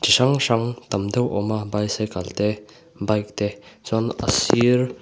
chi hrang hrang tam deuh a awm a bicycle te bike te chuan a sir--